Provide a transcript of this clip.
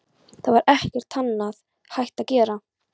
Það var ekkert annað hægt að gera.